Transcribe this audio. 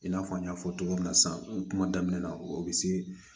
I n'a fɔ n y'a fɔ cogo min na sisan kuma damina o bɛ se